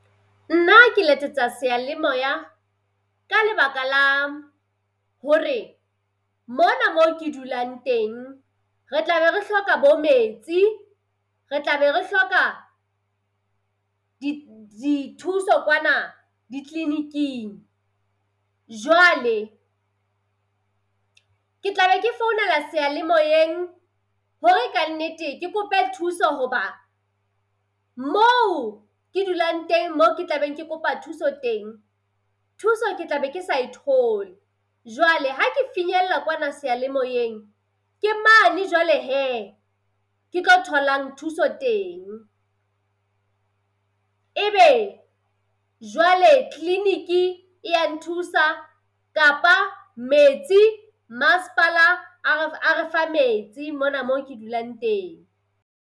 Nna ke letsetsa sealemoya ka lebaka la hore mona moo ke dulang teng re tla be re hloka bo metsi, re tla be re hloka dithuso kwana di-clinic-ing. Jwale, ke tla be ke founela sealemoyeng hore kannete ke kope thuso hoba moo ke dulang teng moo ke tla beng ke kopa thuso teng, thuso ke tla be ke sa e thole. Jwale ha ke finyella kwana sealemoyeng, ke mane jwale hee ke tlo tholang thuso teng. Ebe jwale tleleniki e ya nthusa kapa metsi, masepala a re a re fa metsi mona mo ke dulang teng.